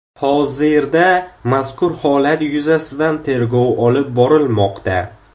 Hozirda mazkur holat yuzasidan tergov olib borilmoqda.